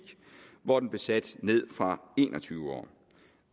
hvor den blev sat ned fra en og tyve år